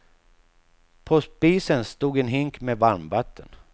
På spisen stod en hink med varmvatten.